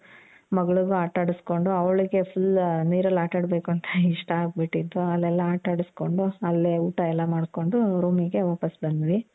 ಮಗಳಿಗೂ ಆಟ ಆಡುಸ್ಕೊಂಡು ಅವಳಿಗೆ full ನೀರಲ್ಲಿ ಆಟ ಆಡಬೇಕು ಅಂತ ಇಷ್ಟ ಆಗ್ ಬಿಟ್ಟಿತ್ತು. ಅಲ್ಲೆಲ್ಲ ಆಟ ಆಡುಸ್ಕೊಂಡು ಅಲ್ಲೇ ಊಟ ಎಲ್ಲಾ ಮಾಡ್ಕೊಂಡು room ಗೆ ವಾಪಾಸ್ ಬಂದ್ವಿ.